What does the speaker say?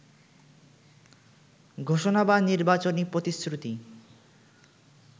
ঘোষণা বা নির্বাচনী প্রতিশ্রুতি